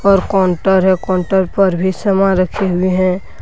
और काउंटर है काउंटर पर भी समान रखे हुए हैं।